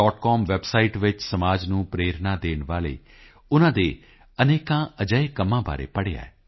com website ਵਿੱਚ ਸਮਾਜ ਨੂੰ ਪ੍ਰੇਰਣਾ ਦੇਣ ਵਾਲੇ ਉਨ੍ਹਾਂ ਦੇ ਅਨੇਕਾਂ ਅਜਿਹੇ ਕੰਮਾਂ ਬਾਰੇ ਪੜ੍ਹਿਆ ਹੈ